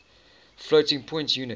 floating point unit